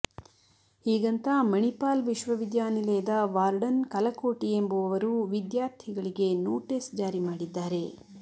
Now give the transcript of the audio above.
ಹೀಗಂತ ಮಣಿಪಾಲ್ ವಿಶ್ವವಿದ್ಯಾನಿಲಯದ ವಾರ್ಡನ್ ಕಲಕೋಟಿ ಎಂಬುವವರು ವಿದ್ಯಾರ್ಥಿಗಳಿಗೆ ನೋಟಿಸ್ ಜಾರಿ ಮಾಡಿದ್ದಾರೆ